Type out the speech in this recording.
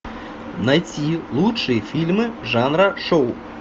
найти лучшие фильмы жанра шоу